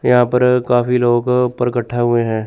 यहां पर काफी लोग ऊपर इकट्ठा हुए हैं।